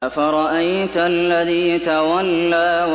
أَفَرَأَيْتَ الَّذِي تَوَلَّىٰ